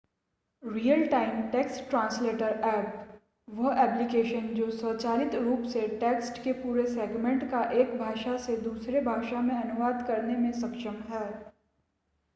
real-time text translator apps वह application जो स्वचालित रूप से टेक्स्ट के पूरे सेगमेंट का एक भाषा से दूसरे भाषा में अनुवाद करने में सक्षम है